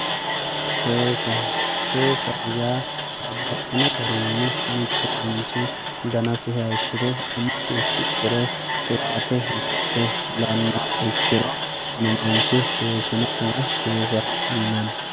seesa seesaho yaa babbaxxino garinni mittu manchi danasi haayishshire umosi fixxire qiwaate buudhe fulannoha ikkiro kuni manchi seesino woy seesaho yinanni.